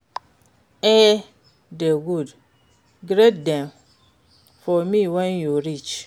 E dey good, greet dem for me when you reach.